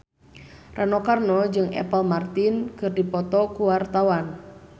Rano Karno jeung Apple Martin keur dipoto ku wartawan